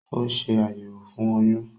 Ó ṣe àyẹ̀wò fún oyún